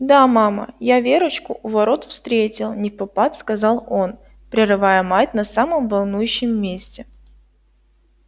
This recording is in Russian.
да мама я верочку у ворот встретил невпопад сказал он прерывая мать на самом волнующем месте